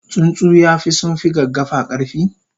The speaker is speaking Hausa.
tsuntsu yafi sunfi gaggafa karfi?